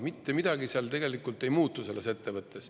Mitte midagi selles ettevõttes tegelikult ei muutu.